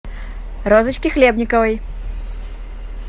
розочке хлебниковой